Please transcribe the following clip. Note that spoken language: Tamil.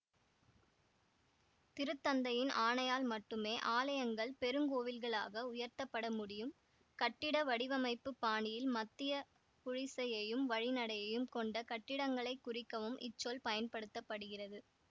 திருத்தந்தையின் ஆணையால் மட்டுமே ஆலயங்கள் பெருங்கோவில்களாக உயர்த்தப்பட முடியும் கட்டிட வடிவமைப்புப் பாணியில் மத்திய குழிசியையும் வழிநடையையும் கொண்ட கட்டிடங்களை குறிக்கவும் இச்சொல் பயன்படுத்த படுகிறது